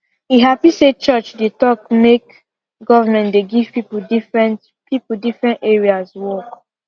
e happy say church dey talk make government dey give people different people different areas work